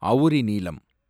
அவுரிநீலம்